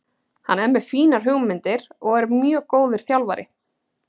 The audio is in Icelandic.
Hann er með fínar hugmyndir og er mjög góður þjálfari.